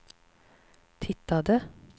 tittade